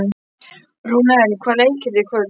Rúnel, hvaða leikir eru í kvöld?